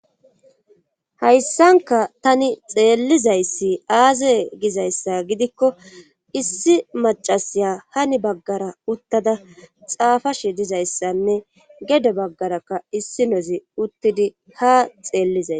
Hayssanka tani xeellizayssi aaze gizayssa gidikko issi macasiya hani baggara uttada xaafashe dizayssanne gedde baggarakka issinozi uttidii ha xeellizay